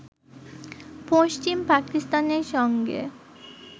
পশ্চিম পাকিস্তানের সঙ্গে